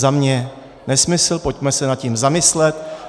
Za mě nesmysl, pojďme se nad tím zamyslet.